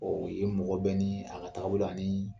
Ɔ ye mɔgɔ bɛ ni a ka taga bolo ani